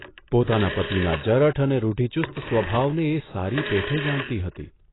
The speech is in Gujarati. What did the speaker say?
પોતાના પતિના જરઠ અને રૂઢિચુસ્ત સ્વભાવને એ સારી પેઠે જાણતી હતી.